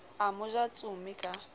a mo ja tsome ka